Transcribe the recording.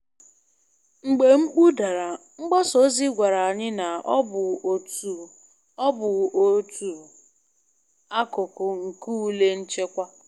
Mgbe mkpu dara, mgbasa ozi gwara anyị na ọ bụ otu ọ bụ otu akụkụ nke ule nchekwa.